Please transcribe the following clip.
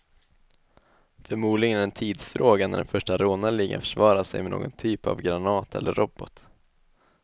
Förmodligen är det en tidsfråga när den första rånarligan försvarar sig med någon typ av granat eller robot.